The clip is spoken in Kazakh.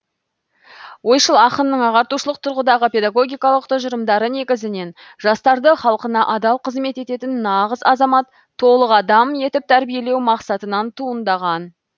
ойшыл ақынның ағартушылық тұрғыдағы педагогикалық тұжырымдары негізінен жастарды халқына адал қызмет ететін нағыз азамат толық адам етіп тәрбиелеу мақсатынан туындаған